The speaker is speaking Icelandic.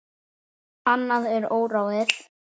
Annað er óráðið.